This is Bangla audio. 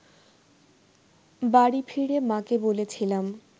বাড়ি ফিরে মা’কে বলেছিলাম